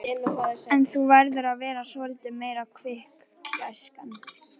En þú verður að vera svolítið meira kvikk, gæskan.